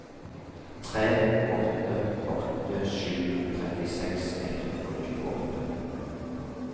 tre åtte åtte sju trettiseks ett hundre og tjueåtte